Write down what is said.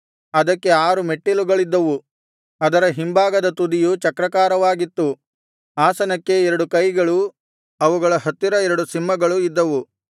ಅದಕ್ಕೆ ಆರು ಮೆಟ್ಟಲುಗಳಿದ್ದವು ಅದರ ಹಿಂಭಾಗದ ತುದಿಯು ಚಕ್ರಾಕಾರವಾಗಿತ್ತು ಆಸನಕ್ಕೆ ಎರಡು ಕೈಗಳು ಅವುಗಳ ಹತ್ತಿರ ಎರಡು ಸಿಂಹಗಳು ಇದ್ದವು